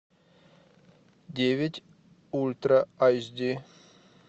девять ультра айч ди